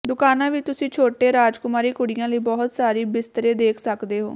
ਦੁਕਾਨਾਂ ਵਿਚ ਤੁਸੀਂ ਛੋਟੇ ਰਾਜਕੁਮਾਰੀ ਕੁੜੀਆਂ ਲਈ ਬਹੁਤ ਸਾਰੀ ਬਿਸਤਰੇ ਦੇਖ ਸਕਦੇ ਹੋ